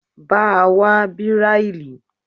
Bá a wá Bíráílì.